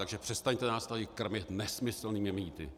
Takže přestaňte nás tady krmit nesmyslnými mýty.